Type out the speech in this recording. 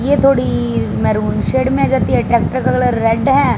ये थोड़ी maroon shade में आ जाती ट्रैक्टर का कलर रेड है।